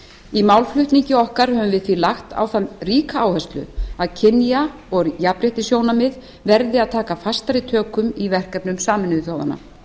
í málflutningi okkar höfum við því lagt á það ríka áherslu að kynja og jafnréttissjónarmið verði að taka fastari tökum í verkefnum sameinuðu þjóðanna